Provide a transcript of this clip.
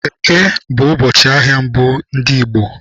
Eke bụ ụbọchị ahịa mbụ ndị Igbo.